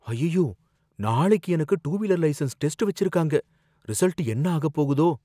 அய்யய்யோ, நாளைக்கு எனக்கு டூ வீலர் லைசன்ஸ் டெஸ்ட் வச்சிருக்காங்க, ரிசல்ட் என்ன ஆகப் போகுதோ!